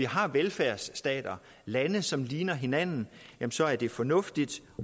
har velfærdsstater lande som ligner hinanden så er det fornuftigt